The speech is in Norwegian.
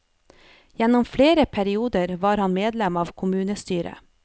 Gjennom flere perioder var han medlem av kommunestyret.